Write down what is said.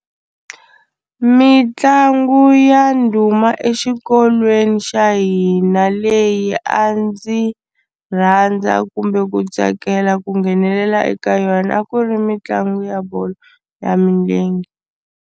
Mitlangu ya ndhuma exikolweni xa hina leyi a ndzi rhandza kumbe ku tsakela ku nghenelela eka yona a ku ri mitlangu ya bolo ya milenge.